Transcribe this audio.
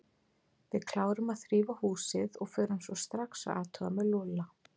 Við klárum að þrífa húsið og förum svo strax að athuga með Lúlla.